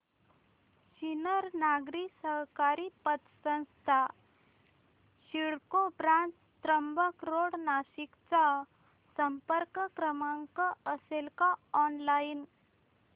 सिन्नर नागरी सहकारी पतसंस्था CIDCO branch Trimbak road Nashik चा संपर्क क्रमांक असेल का ऑनलाइन